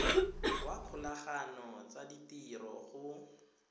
wa dikgolagano tsa ditiro go